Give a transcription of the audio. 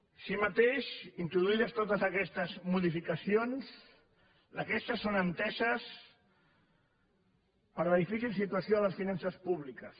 així mateix introduïdes totes aquestes modificacions aquestes són enteses per la difícil situació de les finances públiques